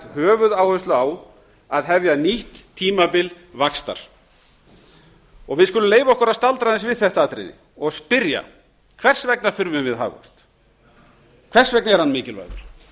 höfuðáherslu á að hefja nýtt tímabil vaxtar við skulum leyfa okkur að staldra aðeins við þetta atriði og spyrja hvers vegna þurfum við hagvöxt hvers vegna er hann mikilvægur